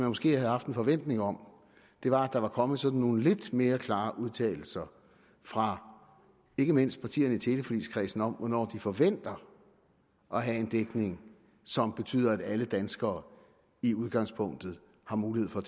måske havde haft en forventning om var at der var kommet sådan nogle lidt mere klare udtalelser fra ikke mindst partierne i teleforligskredsen om hvornår de forventer at have en dækning som betyder at alle danskere i udgangspunktet har mulighed for